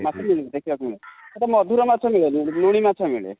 ମାଛ ଦେଖିବାକୁ ମିଳେ|ଆଛା ମଧୁର ମାଛ ମିଳେନି, ଲୁଣି ମାଛ ମିଳେ|